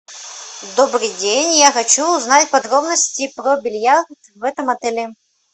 добрый день я хочу узнать подробности про бильярд в этом отеле